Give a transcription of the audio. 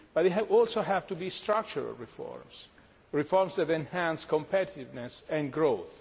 they also have to be structural reforms, reforms that enhance competitiveness and growth.